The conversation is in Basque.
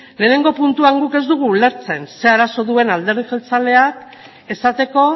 lehenengo puntuan guk ez dugu ulertzen zer arazo duen alderdi jeltzaleak esateko